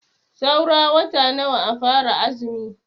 Saura wata nawa a fara azumi?